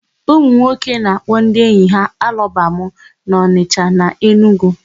Ụmụnwoke na-akpọ ndị enyi ha alọbamụ n'Ọnịsha na Enugwu.